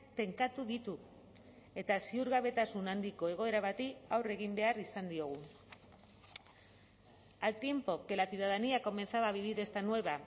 tenkatu ditu eta ziurgabetasun handiko egoera bati aurre egin behar izan diogu al tiempo que la ciudadanía comenzaba a vivir esta nueva